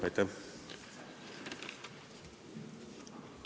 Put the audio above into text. Aitäh!